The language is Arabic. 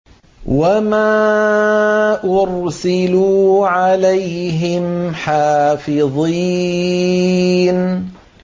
وَمَا أُرْسِلُوا عَلَيْهِمْ حَافِظِينَ